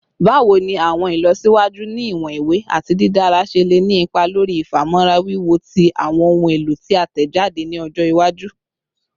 Bawo ni awọn ilọsiwaju ni iwọn iwe ati didara ṣe le ni ipa lori ifamọra wiwo ti awọn ohun elo ti a tẹjade ni ọjọ iwaju?